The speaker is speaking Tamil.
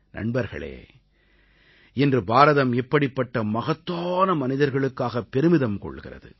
நண்பர்களே இன்று பாரதம் இப்படிப்பட்ட மகத்தான மனிதர்களுக்காக பெருமிதம் கொள்கிறது